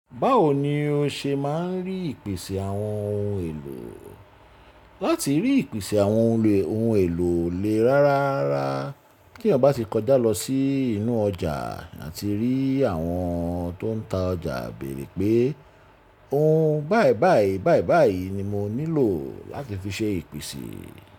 Báwo ni o ṣe máa ń rí ìpèsè àwọn ohun èlò? Láti rí ìpèsè àwọn ohun èlò lè rárárara kí ẹ̀yan ba ti kọjá lọ sí inú ọjà àti rí àwọn tó ń ta ọjà béèrè pé ohun báì báì báì báì ni mo nílò láti fi ṣe ìpèsè.